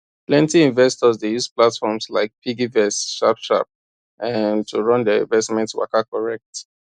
plenty investors dey use platforms like piggyvest sharp sharp um to run their investment waka correct